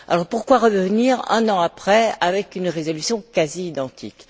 Pourquoi revenir, un an après, avec une résolution quasi identique?